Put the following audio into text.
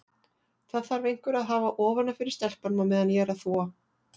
Það þarf einhver að hafa ofan af fyrir stelpunum á meðan ég er að þvo.